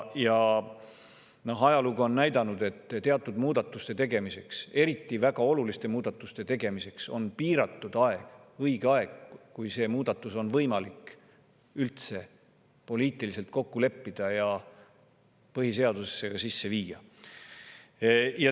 Ajalugu on näidanud, et õige aeg teatud muudatuste tegemiseks, eriti väga oluliste muudatuste tegemiseks on piiratud, see on see aeg, kui muudatust on võimalik üldse poliitiliselt kokku leppida ja põhiseadusesse sisse viia.